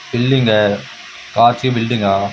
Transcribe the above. Building है कांच की बिल्डिंग है आ।